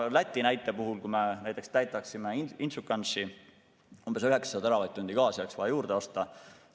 Läti näite puhul, kui me näiteks täidaksime Inčukalnsi mahuti, siis umbes 9 teravatt-tundi gaasi oleks vaja juurde osta.